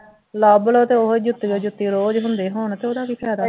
ਲੱਭ ਲਉ ਤੇ ਉਹ ਜੁੱਤੀਓਂ ਜੁੱਤੀ ਰੋਜ਼ ਹੁੰਦੇ ਹੋਣ ਤੇ ਉਹਦਾ ਕੀ ਫਾਇਦਾ